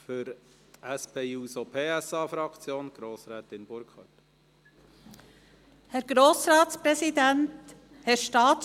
Für die SP-JUSO-PSA-Fraktion hat Grossrätin Burkhard das Wort.